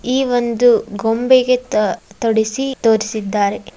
ಈ ಒಂದು ಗೊಂಬೆಗೆ ತ ತೊಡಿಸಿ ತೋರಿಸಿದ್ದಾರೆ .